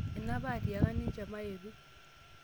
ene apa atiaka nte maetu